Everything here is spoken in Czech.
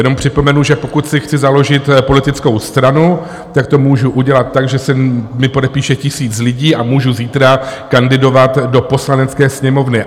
Jenom připomenu, že pokud si chci založit politickou stranu, tak to můžu udělat tak, že se mi podepíše tisíc lidí, a můžu zítra kandidovat do Poslanecké sněmovny.